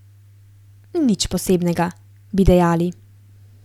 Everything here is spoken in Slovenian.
Nič posebnega, bi dejali.